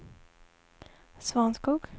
Svanskog